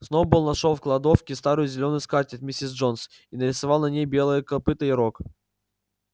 сноуболл нашёл в кладовке старую зелёную скатерть миссис джонс и нарисовал на ней белое копыто и рог